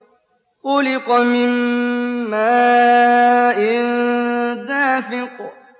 خُلِقَ مِن مَّاءٍ دَافِقٍ